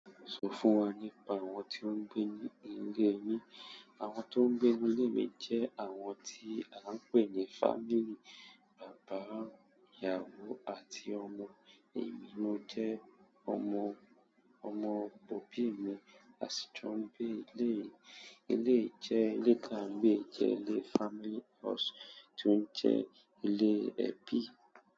Sọ fún wà nípà àwọn tó ń gbẹ ní ilé yín. Àwọn tó ń gbé inú ílé mi jẹ́ àwọn tí à ń pè ní fámíli bàbá, ìyáwo àti ọmọ, èmi mó jẹ́ ọmọ, ọmọ bóbì mi, à sì jọ ń gbé ní ilé. Ilé jẹ́ ilé káǹbí jẹ́ ilé family house tó ń jẹ́ ilé ẹbí.